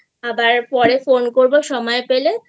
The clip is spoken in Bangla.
আবার পরে ফোন করবো সময় পেলে